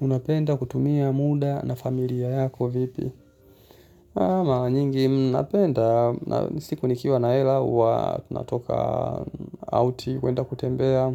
Unapenda kutumia muda na familia yako vipi? Mara nyingi napenda. Siku nikiwa na hela, huwa tunatoka out, kwenda kutembea.